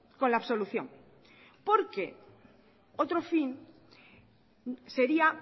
con la absolución porque otro fin sería